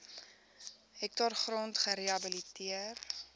hektaar grond gerehabiliteer